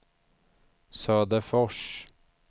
Söderfors